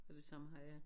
Og det samme har jeg